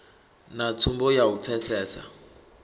na tsumbo ya u pfesesa